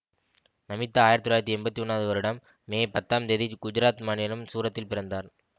நமிதா ஆயிரத்தி தொள்ளாயிரத்தி எம்பத்தி ஒன்னாவது வருடம் மே பத்தாம் தேதி குஜராத் மாநிலம் சூரத்தில் பிறந்தார்